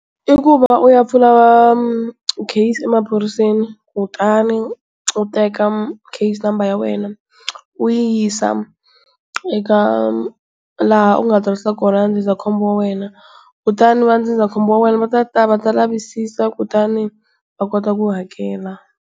I ku va u ya pfula case emaphoriseni kutani u teka case number ya wena u yi yisa eka laha u nga tsarisa kona ndzindzakhombo wa wena, kutani va ndzindzakhombo wa wena va ta ta va ta lavisisa kutani va kota ku hakela.